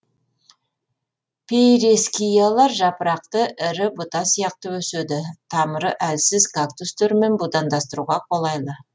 пейрескиялар жапырақты ірі бұта сияқты өседі тамыры әлсіз кактустермен будандастыруға қолайлы